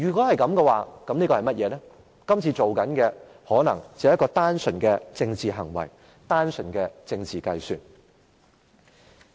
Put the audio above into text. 就是說今次做的可能只是一個單純的政治行為，單純的政治計算。